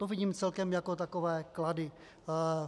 To vidím celkem jako takové klady.